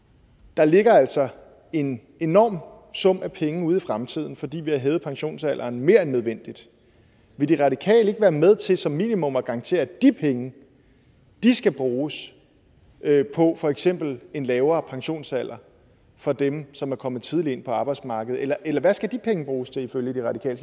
der ligger altså en enorm sum af penge ude i fremtiden fordi vi har hævet pensionsalderen mere end nødvendigt vil de radikale ikke være med til som minimum at garantere at de penge skal bruges på for eksempel en lavere pensionsalder for dem som er kommet tidligt ind på arbejdsmarkedet eller eller hvad skal de penge bruges til ifølge de radikale